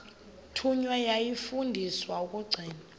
thunywa yafundiswa ukugcina